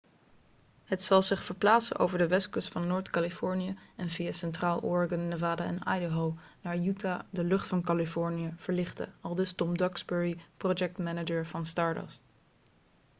'het zal zich verplaatsen over de westkust van noord-californië en via centraal oregon nevada en idaho naar utah de lucht van californië verlichten,' aldus tom duxbury projectmanager van stardust